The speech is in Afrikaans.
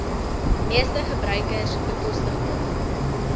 meeste gebruikers bekostigbaar